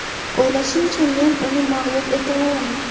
O‘ylashimcha, men uni mag‘lub eta olaman.